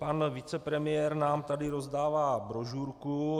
Pan vicepremiér nám tady rozdává brožurku.